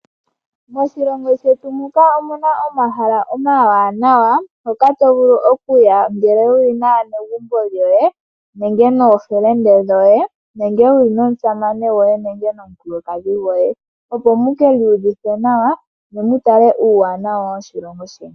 Moshilongo shetu muka omuna omahala omawanawa hoka to vulu okuya ngele wuli naanegumbo lyoye nenge nookume koye nenge wuli nomusamane goye nenge nomukulukadhi goye opo muki yuvithe nawa ne mu tale uuwanawa woshilongo sheni.